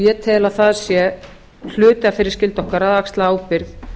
ég tel að það sé hluti af þeirri skyldu okkar að axla ábyrgð